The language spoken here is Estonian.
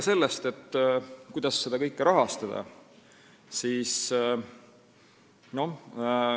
Kuidas seda kõike rahastada?